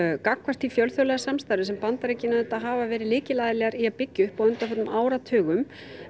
gagnvart því fjölþjóðlega samstarfi sem Bandaríkin hafa verið lykilaðilar í að byggja upp á undanförnum áratugum